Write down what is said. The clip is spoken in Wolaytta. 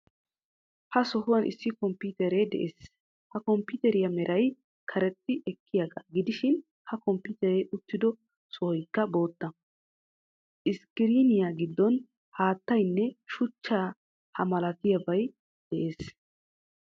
Ha sohuwan issi komppitere de'ees. Ha komppiteeriya meray karexxi ekkiyaagaa gidishin ha komppiiteree uttido sohoykla bootta. Iskkiriiniya giddon haattaanne shuch ha malatiyabay de'ees.